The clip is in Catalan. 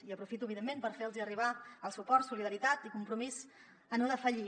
i aprofito evidentment per fer los arribar el suport solidaritat i compromís a no defallir